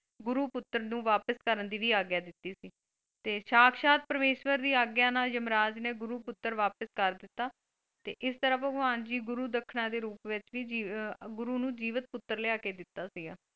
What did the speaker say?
ਗੁਰੂ ਪੁੱਤਰ ਨੂੰ ਵਾਪਿਸ ਕਰਨ ਦੀ ਵੀ ਆਗਿਆ ਦਿੱਤੀ ਸੀ ਤੇ ਸਾਖਸ਼ਾਤ ਪ੍ਰਮੇਸ਼ਵਰ ਦੀ ਆਗਿਆ ਨਾਲ ਯਮਰਾਜ ਨੇ ਗੁਰੂ ਪੁੱਤਰ ਵਾਪਿਸ ਕਰ ਦਿੱਤਾ ਤੇ ਇਸ ਤਰ੍ਹਾਂ ਭਗਵਾਨ ਜੀ ਗੁਰੂ ਦੱਖਣਾ ਦੇ ਰੂਪ ਵਿੱਚ ਵੀ ਅਹ ਗੁਰੂ ਨੂੰ ਜੀਵਿਤ ਪੁੱਤਰ ਲਿਆ ਕੇ ਦਿੱਤਾ ਸੀ ਗਾ।